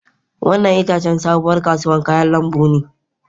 Wannan ita ce sabuwar kasuwar kayan lambu.